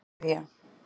Nígería